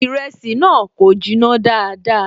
Ìrẹsì náà kò jiná dáadáa